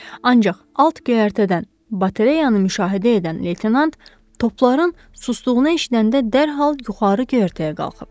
Ancaq alt göyərtədən baterayanı müşahidə edən leytenant topların susduğunu eşidəndə dərhal yuxarı göyərtəyə qalxıb.